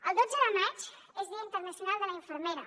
el dotze de maig és el dia internacional de la infermera